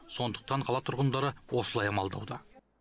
сондықтан қала тұрғындары осылай амалдауда